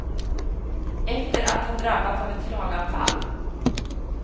Efter att ha drabbats av ett slaganfall.